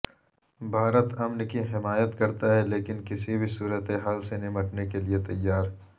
بھارت امن کی حمایت کرتا ہے لیکن کسی بھی صورتحال سے نمٹنے کیلئے تیار